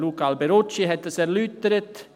Luca Alberucci hat das erläutert.